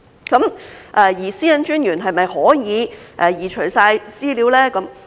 個人資料私隱專員是否可以移除所有資料？